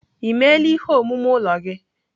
Emeela ihe omume ụlọ gị?